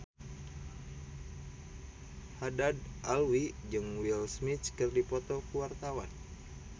Haddad Alwi jeung Will Smith keur dipoto ku wartawan